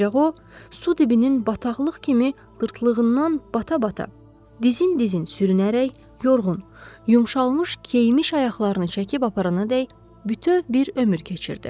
Ancaq o su dibinin bataqlıq kimi qırtlığından bata-bata dizin-dizin sürünərək yorğun, yumşalmış keyimiş ayaqlarını çəkib aparanadək bütöv bir ömür keçirdi.